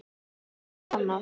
Við vitum ekkert annað.